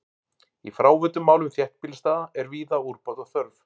Í fráveitumálum þéttbýlisstaða er víða úrbóta þörf.